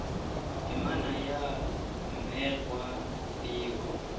temana ya mme gwa bewa